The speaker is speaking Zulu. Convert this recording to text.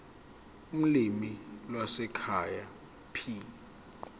ulimi lwasekhaya p